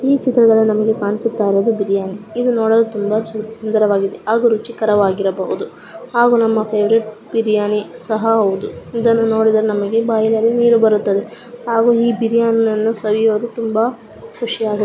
ಈ ಚಿತ್ರದಲ್ಲಿ ನಮಗೆ ಕಾಣಿಸುತ್ತ ಇರುವುದು ಒಂದು ಬಿರಿಯಾನಿ ಇದು ನೋಡಲು ಚೆ ಸುಂದರವಾಗಿದೆ ಹಾಗು ತುಂಬಾ ರುಚಿಕರ ವಾಗಿರಬಹುದು ಹಾಗು ನಮ್ಮ ಫ್ಯೆವರೆಟ್ ಬಿರಿಯಾನಿ ಸಹ ಹೌದು ಇದನ್ನು ನೊಡಿದರೆ ನಮಗೆ ಬಾಯಿಯಲ್ಲಿ ನಿರು ಬರುತ್ತದೆ ಹಾಗು ಈ ಬಿರಿಯಾನಿಯನ್ನು ಸವಿಯೊದು ತುಂಬಾ ಕುಷಿಯಗುತ್ತದೆ .